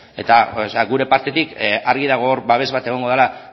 eta gure partetik argi dago hor babes bat egongo dela